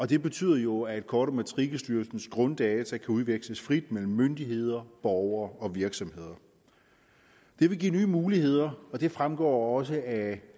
det betyder jo at kort og matrikelstyrelsens grunddata kan udveksles frit mellem myndigheder borgere og virksomheder det vil give nye muligheder og det fremgår også af